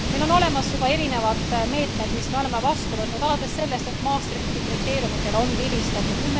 Meil on olemas juba erinevad meetmed, mis me oleme vastu võtnud, alates sellest, et Maastrichti kriteeriumidele on vilistatud.